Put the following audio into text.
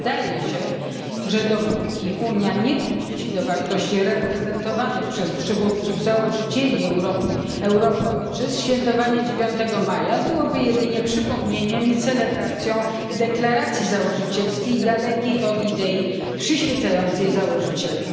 Wydaje się, że dopóki Unia nie powróci do wartości reprezentowanych przez przywódców założycieli Europy Ojczyzn, świętowanie 9 maja byłoby jedynie przypomnieniem i celebracją deklaracji założycielskiej dalekiej od idei przyświecającej założycielom.